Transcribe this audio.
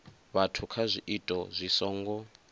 vhathu kha zwiito zwi songo